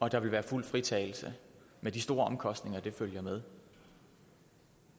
at der vil være fuld fritagelse med de store omkostninger der følger med